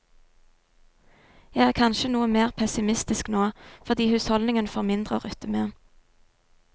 Jeg er kanskje noe mer pessimistisk nå, fordi husholdningene får mindre å rutte med.